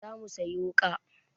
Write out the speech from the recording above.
Za mu sayi wuƙa.